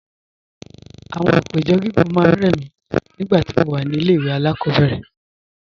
Àwọn àpéjọ gígùn máa ń rẹ̀ mí nígbà tí mo wà ní ilé ẹ̀kọ́ alákọ̀ọ́bẹ̀rẹ̀